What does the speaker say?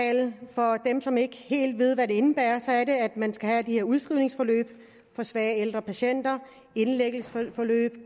den som ikke helt ved hvad den indebærer at man skal have de her udskrivningsforløb for svage ældre patienter indlæggelsesforløb